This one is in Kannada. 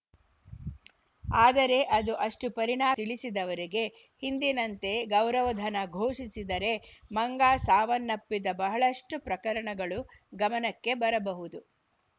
ಆದರೆ ಅದು ಅಷ್ಟುಪರಿ ಣಾರಿತಿಳಿಸಿದವರಿಗೆ ಹಿಂದಿನಂತೆ ಗೌರವಧನ ಘೋಷಿಸಿದರೆ ಮಂಗ ಸಾವನ್ನಪ್ಪಿದ ಬಹಳಷ್ಟುಪ್ರಕರಣಗಳು ಗಮನಕ್ಕೆ ಬರಬಹುದು